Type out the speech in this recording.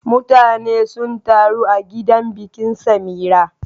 Mutane sun taru a gidan bikin Samira.